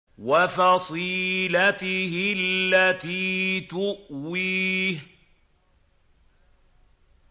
وَفَصِيلَتِهِ الَّتِي تُؤْوِيهِ